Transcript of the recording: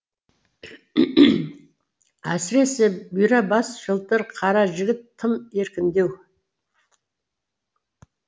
әсіресе бұйра бас жылтыр қара жігіт тым еркіндеу